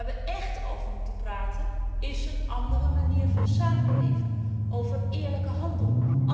Maar waar we echt over moeten praten, is over een andere manier van samenleven, over eerlijke handel.